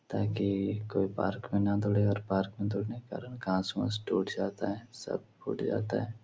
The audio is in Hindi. ताकि कोई पार्क मे ना दौड़े और पार्क मे दौड़ने के कारण गाछ वाछ टूट जाता है सब फुट जाता है।